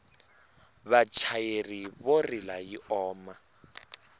vachayeri vo rila yi oma